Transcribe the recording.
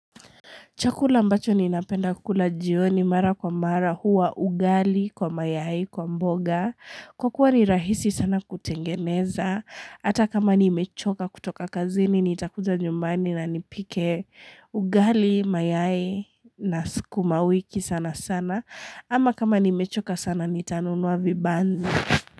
Chakula ambacho ninapenda kukula jioni mara kwa mara huwa ugali kwa mayai kwa mboga. Kwa kuwa ni rahisi sana kutengeneza. Hata kama nimechoka kutoka kazini nitakuja nyumbani na nipike ugali mayai na sukuma wiki sana sana. Ama kama ni mechoka sana ni tanunua vibanzi.